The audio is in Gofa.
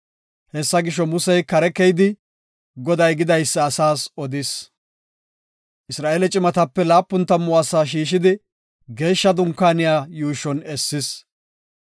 Hessa gisho, Musey kare keyidi, Goday gidaysa asaas odis. Isra7eele cimatape laapun tammu asaa shiishidi, Geeshsha Dunkaaniya yuushon essis.